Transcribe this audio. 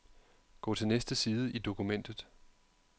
Gå til næste side i dokumentet.